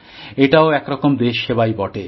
এটাও এক রকম দেশ সেবাই বটে